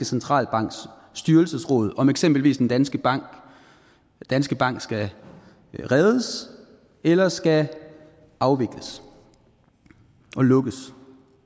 centralbanks styrelsesråd om at eksempelvis en dansk bank dansk bank skal reddes eller skal afvikles og lukkes